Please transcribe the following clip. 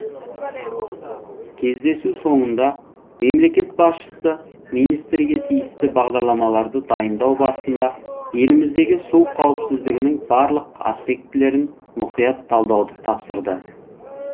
кездесу соңында мемлекет басшысы министрге тиісті бағдарламаларды дайындау барысында еліміздегі су қауіпсіздігінің барлық аспектілерін мұқият талдауды тапсырды